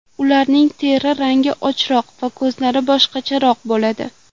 Ularning teri rangi ochroq va ko‘zlari boshqacharoq bo‘ladi.